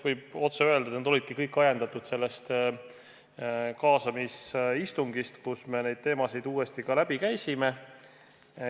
Võib otse öelda, et nad olidki kõik ajendatud sellest kaasamisistungist, kus me neid teemasid uuesti läbi käisime.